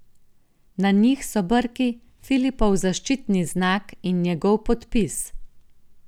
Na njih so brki, Filipov zaščitni znak, in njegov podpis.